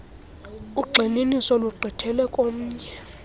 ugxininiso lugqithele komnye